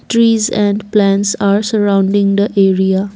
Trees and plants are surrounding the area.